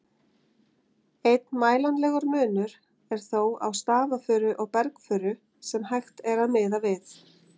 Einn mælanlegur munur er þó á stafafuru og bergfuru sem hægt er að miða við.